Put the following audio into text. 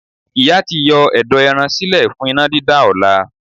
Ìyá ti yọ ẹ̀dọ̀ ẹran sílẹ̀ fún iná dídá ọ̀la.